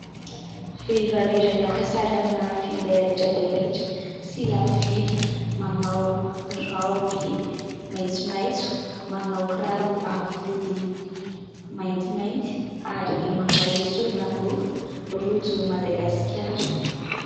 Vehivavy iray maka sary amina finday raitra dia raitra sy lafo vidy, manao raoby maitsomaitso, manao kiraro avo vody maintimainty ary manao ireo sorolaingofo rojo Madagasikara.